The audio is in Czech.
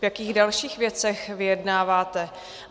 V jakých dalších věcech vyjednáváte?